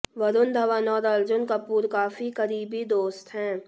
वरूण धवन और अर्जुन कपूर काफी करीबी दोस्त हैं